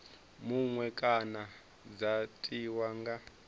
muṅwe kana dza tiwa nga